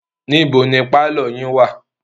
níbo ni pálọ̀ yín wà?